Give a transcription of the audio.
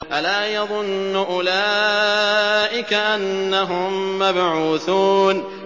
أَلَا يَظُنُّ أُولَٰئِكَ أَنَّهُم مَّبْعُوثُونَ